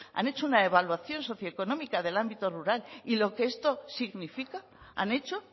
han hecho una evaluación socioeconómica del ámbito rural y lo que esto significa han hecho